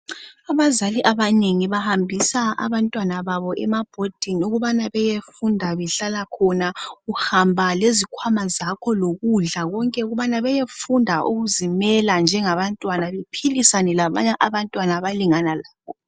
Abazali abanengi bahambisa abantwana babo ema bhodini ukubana beyefunda behlala khona. Uhamba lezikhwama zakho lokudla konke ukubana beyefunda ukuzimela njengabantwana bephilisane labanye abantwana abalingana labo.